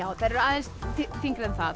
þær eru aðeins þyngri en það